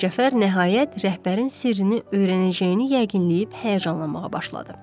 Mircəfər nəhayət rəhbərin sirrini öyrənəcəyini yəqin eləyib həyəcanlanmağa başladı.